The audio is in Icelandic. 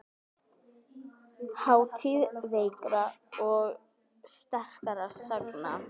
Þátíð veikra og sterkra sagna.